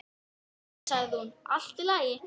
Jæja sagði hún, allt í lagi.